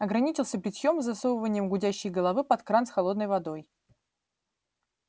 ограничился бритьём и засовыванием гудящей головы под кран с холодной водой